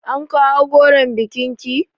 An kawo goron bikin ki?